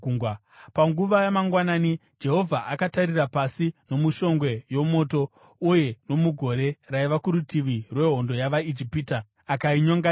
Panguva yamangwanani Jehovha akatarira pasi nomushongwe yomoto uye nomugore raiva kurutivi rwehondo yavaIjipita, akainyonganisa.